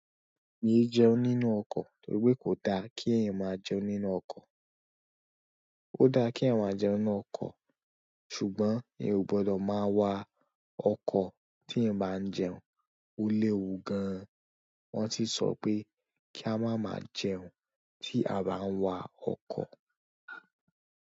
Mi è jẹun nínú ọkọ̀ nítorí pé kò da kí ẹ̀yin máa jẹun nínú ọkọ̀. Ó da kí èèyàn máa jẹun nínú ọkọ̀, ṣùgbọ́n ìyẹn ò gbọdọ̀ máa wa ọkọ̀ tí ẹ̀yin máa ń jẹun. Ó léwu gan an. Wọ́n sì sọ pé kí a má máa jẹun tí a bá ń wa ọkọ̀.